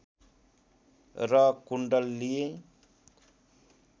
र कुण्डल लिए